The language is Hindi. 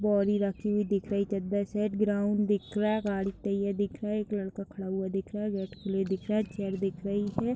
बौदी राखी हुई दिख रही है चद्दर सेट ग्राउंड दिख रहा है गाड़ी तैयर दिख रहा है एक लड़का खड़ा हुआ दिख रहा है वेटकुली दिख रहा है चेयर दिख रही है।